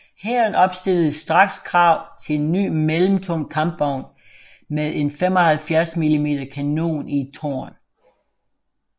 Hæren opstillede straks krav til en ny mellemtung kampvogn med en 75 mm kanon i et tårn